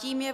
Tím je